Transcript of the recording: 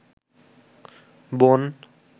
বোন